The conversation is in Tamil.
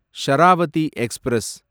ஷராவதி எக்ஸ்பிரஸ்